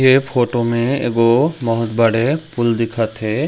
ये फोटो में एगो बहुत बड़े पूल दिखत हे।